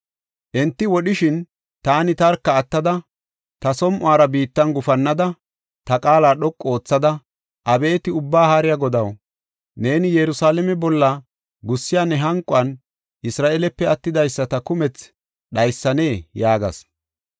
Enti wodhishin, taani tarka attada, ta som7uwara biittan gufannada, ta qaala dhoqu oothada, “Abeeti Ubbaa Haariya Godaw, neeni Yerusalaame bolla gussiya ne hanquwan Isra7eelepe attidaysata kumethi dhaysanee?” yaagas.